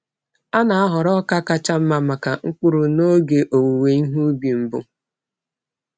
A na-ahọrọ ọka kacha mma maka mkpụrụ n’oge owuwe ihe ubi mbụ.